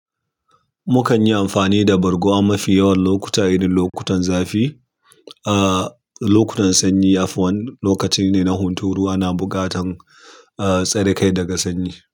Mukan yi amfani da bargo a mafi yawan lokuta. Irinn lokutan zafi, ah, lokutan sanyi, lokaci ne na hunturu ana buƙatan, ah, tsare kai daga sanyi.